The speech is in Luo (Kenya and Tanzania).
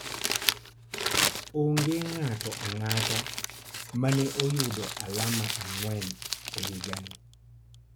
Onge ng'ato ang'ata ma ne oyudo alama ang'wen e higani.